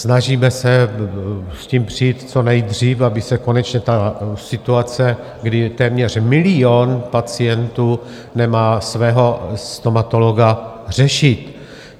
Snažíme se s tím přijít co nejdřív, aby se konečně ta situace, kdy téměř milion pacientů nemá svého stomatologa, řešit.